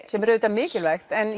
sem er auðvitað mikilvægt en